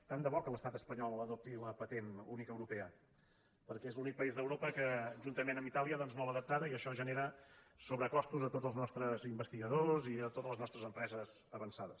tant de bo que l’estat espanyol adopti la pa·tent única europea perquè és l’únic país d’europa que juntament amb itàlia no l’ha adaptada i això genera sobrecostos a tots els nostres investigadors i a totes les nostres empreses avançades